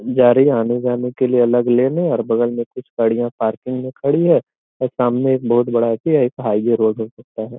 जा रही है आने-जाने के लिए अलग लाइने हैं और बगल में कुछ गाड़ियाँ पार्किंग में खड़ी हैं और सामने एक बहुत बड़ी बोर्ड गड़ी होती है एक हाइवे हो सकता है |